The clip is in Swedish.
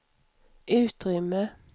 utrymme